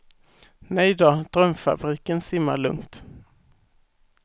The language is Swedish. Nejdå, drömfabriken simmar lugnt.